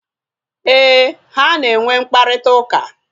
Éè, ha na enwe mkparịta ụka